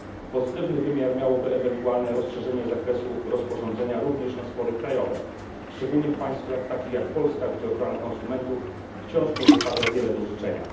Pozytywny wymiar miałoby ewentualne rozszerzenie zakresu rozporządzenia również na spory krajowe, szczególnie w państwach takich jak Polska, gdzie ochrona konsumentów wciąż pozostawia wiele do życzenia.